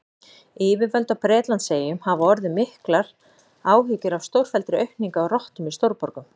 Yfirvöld á Bretlandseyjum hafa orðið miklar áhyggjur af stórfelldri aukningu á rottum í stórborgum.